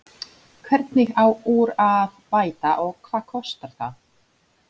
Hvernig á úr að bæta og hvað kostar það?